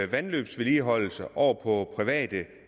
vandløbsvedligeholdelse over på private